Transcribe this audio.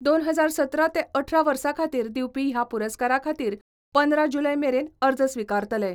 दोन हजार सतरा ते अठरा वर्सा खातीर दिवपी ह्या पुरस्कारा खातीर पंदरा जुलय मेरेन अर्ज स्विकारतले.